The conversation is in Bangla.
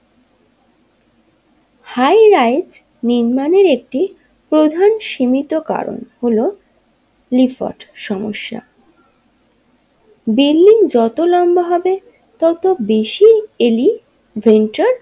হাইরাইট নির্মাণের একটি প্রধান সীমিত কারণ হলো লিফোর্ড সমস্যা বিল্ডিং যত লম্বা হবে তত বেশি এলিভেটর।